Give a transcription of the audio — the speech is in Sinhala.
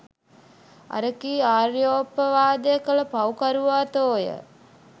අර කී ආර්යෝපවාදය කළ පව් කරුවා තෝ ය.